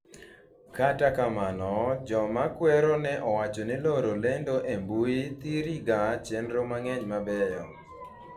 kata kamano, joma kwero ne owacho ni loro lendo e mbui thiri ga chenro mang'eny mabeyo